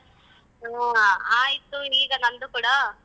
ಹ್ಮ ಆಯ್ತು ಈಗ ನಂದು ಕೂಡ.